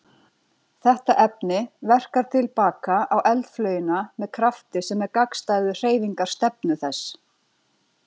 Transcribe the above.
Þetta efni verkar til baka á eldflaugina með krafti sem er gagnstæður hreyfingarstefnu þess.